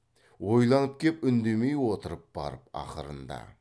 ойланып кеп үндемей отырып барып ақырыңда